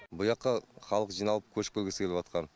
бұяққа халық жиналып көшіп келгісі келіватқан